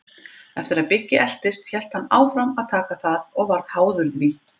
Eftir að Biggi eltist hélt hann áfram að taka það og varð háður því.